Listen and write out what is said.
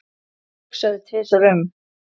Ekki hugsa þig tvisvar um.